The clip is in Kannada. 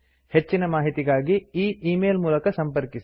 ಹೆಚ್ಚಿನ ಮಾಹಿತಿಗಾಗಿ ಈ ಈ ಮೇಲ್ ಮೂಲಕ ಸಂಪರ್ಕಿಸಿ